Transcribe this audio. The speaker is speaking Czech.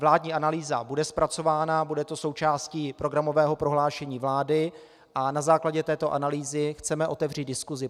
Vládní analýza bude zpracována, bude to součástí programového prohlášení vlády a na základě této analýzy chceme otevřít diskusi.